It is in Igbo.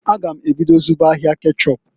A gam ebido zụba ahịa kechọp.